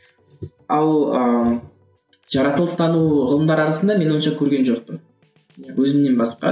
ал ыыы жаратылыстану ғылымдары арасында мен онша көрген жоқпын өзімнен басқа